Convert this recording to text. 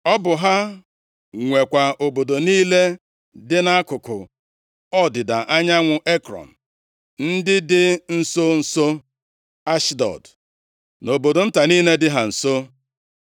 Ọ bụ ha nwekwa obodo niile dị nʼakụkụ ọdịda anyanwụ Ekrọn, ndị dị nso nso Ashdọd, na obodo nta niile dị ha nso.